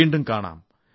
വീണ്ടും കാണാം